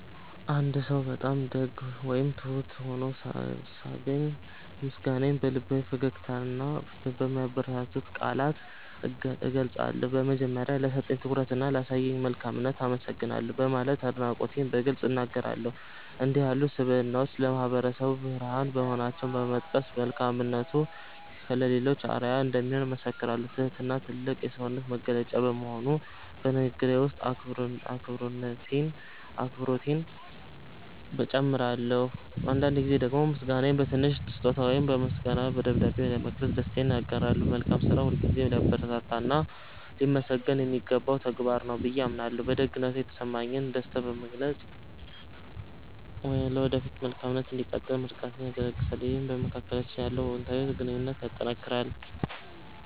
አንድ ሰው በጣም ደግ ወይም ትሁት ሆኖ ሳገኝ፣ ምስጋናዬን በልባዊ ፈገግታና በሚያበረታቱ ቃላት እገልጻለሁ። በመጀመሪያ፣ "ለሰጠኝ ትኩረትና ላሳየኝ መልካምነት አመሰግናለሁ" በማለት አድናቆቴን በግልጽ እናገራለሁ። እንዲህ ያሉ ስብዕናዎች ለማህበረሰቡ ብርሃን መሆናቸውን በመጥቀስ፣ መልካምነቱ ለሌሎችም አርአያ እንደሚሆን እመሰክራለሁ። ትህትና ትልቅ የሰውነት መገለጫ በመሆኑ፣ በንግግሬ ውስጥ አክብሮቴን እጨምራለሁ። አንዳንድ ጊዜ ደግሞ ምስጋናዬን በትንሽ ስጦታ ወይም በምስጋና ደብዳቤ በመግለጽ ደስታዬን አጋራለሁ። መልካም ስራ ሁልጊዜም ሊበረታታና ሊመሰገን የሚገባው ተግባር ነው ብዬ አምናለሁ። በደግነቱ የተሰማኝን ደስታ በመግለጽ፣ ለወደፊቱም መልካምነቱ እንዲቀጥል ምርቃቴን እለግሳለሁ። ይህም በመካከላችን ያለውን አዎንታዊ ግንኙነት ያጠናክራል።